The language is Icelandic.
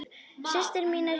Systir mín er hérna líka.